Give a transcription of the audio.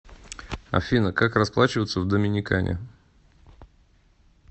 афина как расплачиваться в доминикане